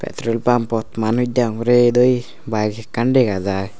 petrol pump ot manuj degong ret oyi bike ekkan dega jar.